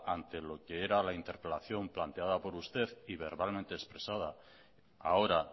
ante lo que era la interpelación planteada por usted y verbalmente expresada ahora